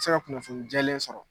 se ka kunnafoni jɛlen sɔrɔ